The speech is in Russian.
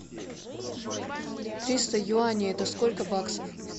триста юаней это сколько баксов